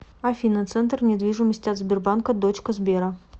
афина центр недвижимости от сбербанка дочка сбера